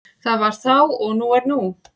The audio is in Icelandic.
Það var þá og nú er nú.